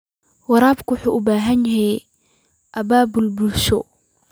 Waraabka waxa uu u baahan yahay abaabul bulsho.